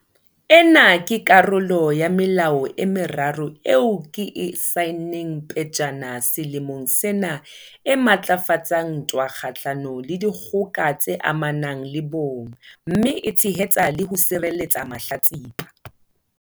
Ena ke karolo ya melao e meraro eo ke e saenneng pejana selemong sena e matlafatsang ntwa kgahlano le dikgoka tse amanang le bong mme e tshehetsa le ho sireletsa mahlatsipa.